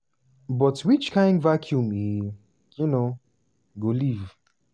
but which kain vacuum e um go leave?